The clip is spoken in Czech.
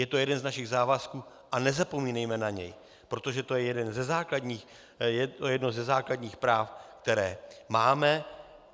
Je to jeden z našich závazků a nezapomínejme na něj, protože to je jedno ze základních práv, které máme.